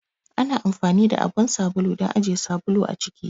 Ana anfani da abun sabulu don ajiye sabulu a ciki.